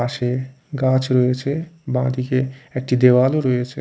পশে গাছ রয়েছে বা দিকে একটি দেয়াল ও রয়েছে।